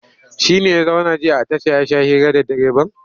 Shi ne ya zauna jiya a tasha ya sha hira da direban?